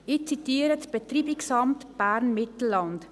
Ich zitiere das Betreibungsamt Bern-Mittelland: